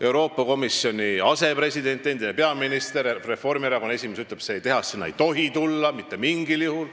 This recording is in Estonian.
Euroopa Komisjoni asepresident, endine peaminister ja Reformierakonna esimees ütleb, et seda tehast ei tohi sinna tulla mitte mingil juhul.